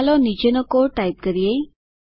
ચાલો નીચેનો code type કરીએ